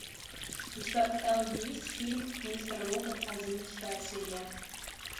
у тебя в каталоге есть фильм мистер робот одиннадцатая серия